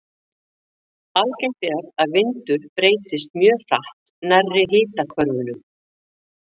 Algengt er að vindur breytist mjög hratt nærri hitahvörfunum.